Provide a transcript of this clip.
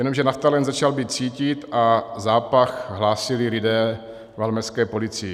Jenomže naftalen začal být cítit a zápach hlásili lidé valmezské policii.